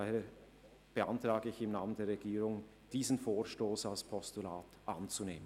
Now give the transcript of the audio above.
Daher beantrage ich im Namen der Regierung diesen Vorstoss als Postulat anzunehmen.